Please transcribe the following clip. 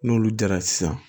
N'olu jara sisan